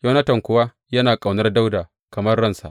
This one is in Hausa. Yonatan kuwa yana ƙaunar Dawuda kamar ransa.